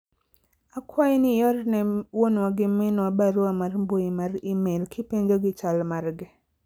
akwayi ni iorne wuonwa gi minwa barua mar mbui mar email kipenjo gi chal margi